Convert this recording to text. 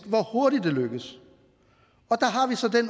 hvor hurtigt det lykkes